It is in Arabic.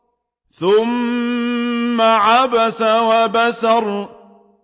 ثُمَّ عَبَسَ وَبَسَرَ